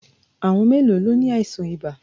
À̀wọn mélòó ló ni àìsàn ibà?